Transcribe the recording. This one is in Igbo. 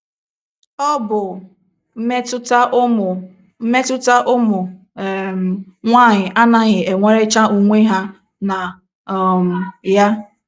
Ọ bụ...... mmetụta ụmụ...... mmetụta ụmụ um nwanyị anaghị enwerecha onwe ha na um ya.